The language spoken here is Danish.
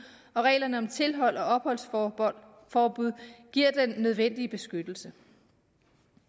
og reglerne om tilhold og opholdsforbud giver den nødvendige beskyttelse